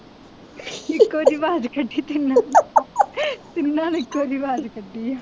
ਇੱਕੋ ਜਿਹੀ ਆਵਾਜ਼ ਕੱਢੀ ਜਾਂਦੇ, ਤਿੰਨਾਂ ਨੇ ਇਕੋ ਜਿਹੀ ਆਵਾਜ਼ ਕੱਢੀ ਹੈ।